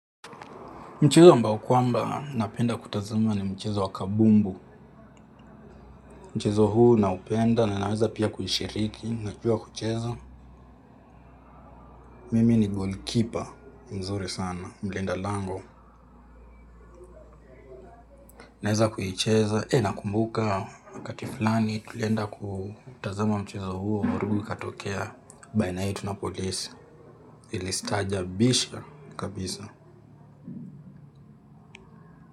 Mchezo ambao kwamba napenda kutazama ni mchezo wa kabumbu. Mchezo huu naupenda na naweza pia kuishiriki, najua kucheza. Mimi ni goalkeeper mzuri sana, mlindalango. Naweza kuicheza, nakumbuka, wakati fulani tulienda kutazama mchezo huo. Vurugu ikatokea baina yetu na polisi. Ilistaajabisha kabisa.